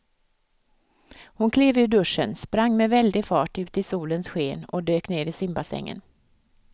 Hon klev ur duschen, sprang med väldig fart ut i solens sken och dök ner i simbassängen.